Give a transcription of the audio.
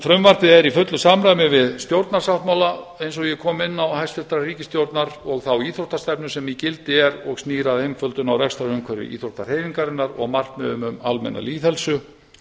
frumvarpið er í fullu samræmi við stjórnarsáttmála hæstvirtrar ríkisstjórnar eins og ég kom inn á og þá íþróttastefnu sem í gildi er og snýr að einföldun á rekstrarumhverfi íþróttahreyfingarinnar og markmiðum um almenna lýðheilsu